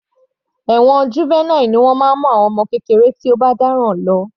Ẹ̀wọ̀n Juvenile ni wọ́n máa ń mú àwọn ọmọ kékeré tí ó bá dáràn lọ.